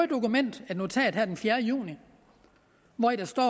dokument et notat den fjerde juni hvori der står at